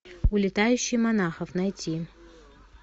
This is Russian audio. улетающий монахов найти